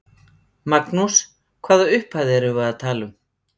Magnús: Hvaða upphæð erum við að tala um?